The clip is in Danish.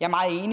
jeg